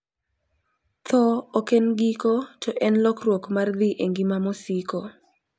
tho ok en giko to en lokruok mar dhi e ngima mosiko,